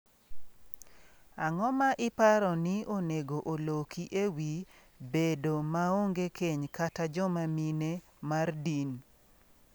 Ang’o ma iparo ni onego oloki e wi bedo maonge keny kata joma mine mar din?